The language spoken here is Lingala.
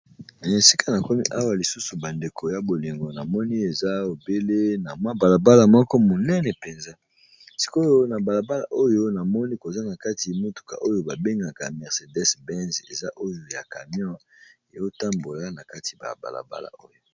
na esika na komi awa lisusu bandeko ya bolingo na moni eza ebele na mwa balabala moko monene mpenza sikoyo na balabala oyo namoni koza na kati motuka oyo babengaka mercedes binz eza oyo ya camion eotambola na kati ya balabala oyo.